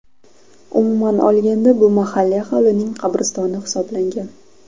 Umuman olganda, bu mahalliy aholining qabristoni hisoblangan.